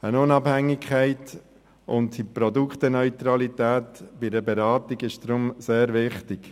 Eine Unabhängigkeit und eine Produkteneutralität bei einer Beratung sind darum sehr wichtig.